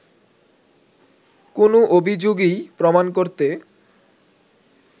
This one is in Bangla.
কোনো অভিযোগই প্রমাণ করতে